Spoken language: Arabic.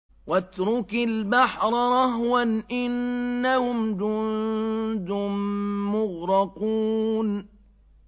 وَاتْرُكِ الْبَحْرَ رَهْوًا ۖ إِنَّهُمْ جُندٌ مُّغْرَقُونَ